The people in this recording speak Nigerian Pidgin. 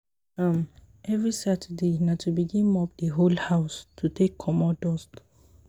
um evri saturday na to begin mop di whole house to take comot dust